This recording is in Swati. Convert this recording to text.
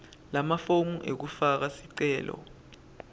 lamafomu ekufaka sicelo